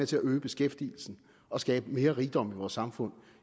til at øge beskæftigelsen og skabe mere rigdom i vores samfund